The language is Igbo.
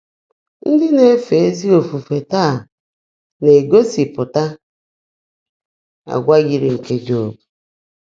Ndị́ ná-èfé ézí ófùfé táá ná-égósị́pụ́tá àgwà yị́rị́ nkè Jọ́b.